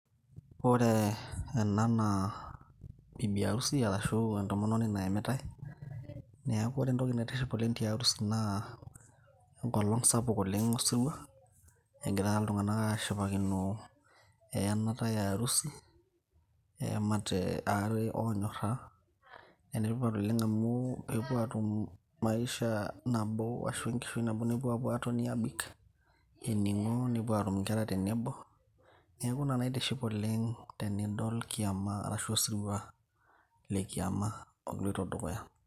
Ore ena naa bibi harusi ashu entomononi nayamitae neeku ore entoki naitiship oleng tiarusi naa enkolong sapuk oleng osirua egira iltung'anak ashipakino eyenata earusi eyamate aare onyorra enetipat oleng amu kepuo atum maisha nabo ashu enkishui nabo nepuo apuo atoni abik ening'o nepuo atum inkera tenebo neeku ina naitiship oleng tenidol kiama arashu osirua le kiama oloito dukuya.